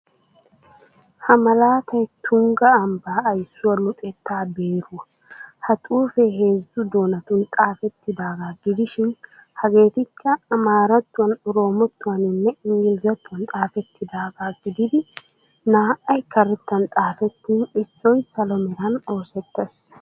Ha malaatay Tungga ambbaa aysuwa luxetta beeruwa. Ha xuufee heezzu doonatun xaafettidaagaa gidishin hegeetikka: amaarattuwan, oroomottuwaninne inggilzzatuwan xaafettidaagaa gididi naa"ay karettan xaafettin issoy salo meran oosettees.